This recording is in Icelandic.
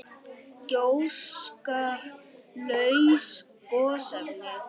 Gjóska- laus gosefni